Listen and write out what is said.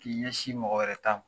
K'i ɲɛsin mɔgɔ wɛrɛ ta ma